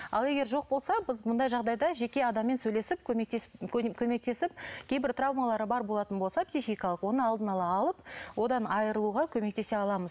ал егер жоқ болса біз мұндай жағдайда жеке адаммен сөйлесіп көмектесіп көмектесіп кейбір травмалары бар болатын болса психикалық оны алдын ала алып одан айыруға көмектесе аламыз